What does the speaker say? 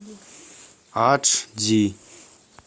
адж ди